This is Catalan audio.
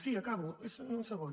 sí acabo és un segon